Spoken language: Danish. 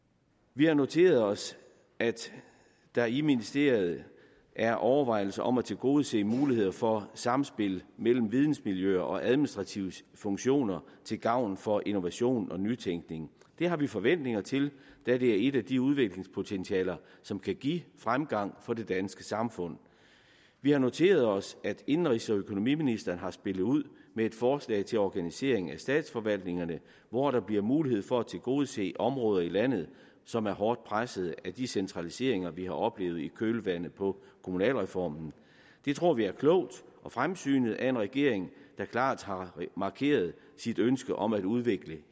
vi har noteret os at der i ministeriet er overvejelser om at tilgodese muligheder for samspil mellem vidensmiljøer og administrative funktioner til gavn for innovation og nytænkning det har vi forventninger til da det er et af de udviklingspotentialer som kan give fremgang for det danske samfund vi har noteret os at indenrigs og økonomiministeren har spillet ud med et forslag til organisering af statsforvaltningerne hvor der bliver mulighed for at tilgodese områder i landet som er hårdt presset af de centraliseringer vi har oplevet i kølvandet på kommunalreformen det tror vi er klogt og fremsynet af en regering der klart har markeret sit ønske om at udvikle